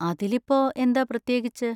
അതിലിപ്പോ എന്താ പ്രത്യേകിച്ച്?